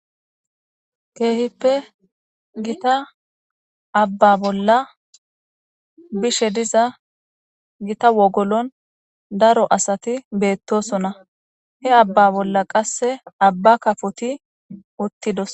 keehippe gita abba bolla bishe diza gita wogolon daro asati betosona, he abba bolla qasse abba kafoti uttidosona.